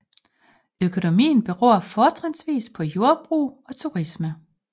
Økonomien beror fortrinsvis på jordbrug og turisme